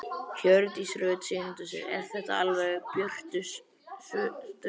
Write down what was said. Hjördís Rut Sigurjónsdóttir: Er þetta alveg eftir björtustu vonum?